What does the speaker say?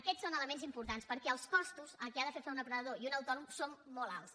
aquests són elements importants perquè els costos a què han de fer front un emprenedor i un autònom són molt alts